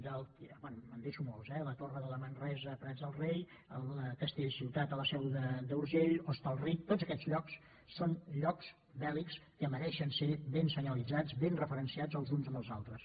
bé em deixo molts eh la torre de la manresana als prats de rei castellciutat a la seu d’urgell hostalric tots aquests llocs són llocs bèl·lics que mereixen ser ben senyalitzats ben referenciats els uns amb els altres